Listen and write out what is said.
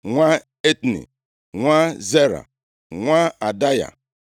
nwa Etni, nwa Zera, nwa Adaya,